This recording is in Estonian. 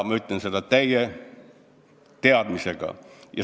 Ma ütlen seda täie teadmisega.